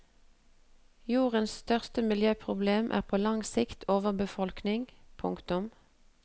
Jordens største miljøproblem er på lang sikt overbefolkning. punktum